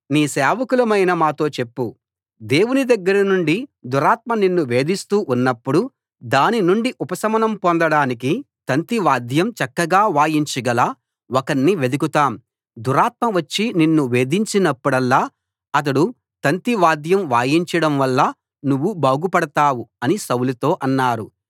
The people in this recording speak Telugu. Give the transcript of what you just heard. నీ సేవకులమైన మాతో చెప్పు దేవుని దగ్గర నుండి దురాత్మ నిన్ను వేధిస్తూ ఉన్నప్పుడు దాని నుండి ఉపశమనం పొందడానికి తంతివాద్యం చక్కగా వాయించగల ఒకణ్ణి వెదుకుతాం దురాత్మ వచ్చి నిన్ను వేధించినప్పుడల్లా అతడు తంతివాద్యం వాయించడం వల్ల నువ్వు బాగుపడతావు అని సౌలుతో అన్నారు